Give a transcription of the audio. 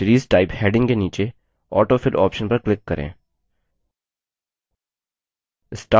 अब series type heading के नीचे autofill option पर click करें